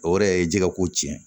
O yɛrɛ ye ji ka ko tiɲɛ